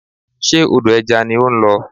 Ṣe odò ẹja ni ó ń lọ?